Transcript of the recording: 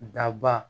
Daba